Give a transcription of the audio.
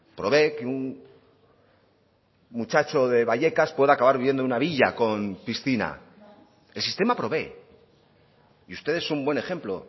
provee que un muchacho de vallecas pueda acabar viviendo en una villa con piscina el sistema provee y usted es un buen ejemplo